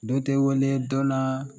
Don tɛ weele dɔn na